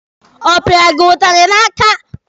Ọ pịara gị ụtalị n'aka?